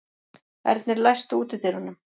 Ernir, læstu útidyrunum.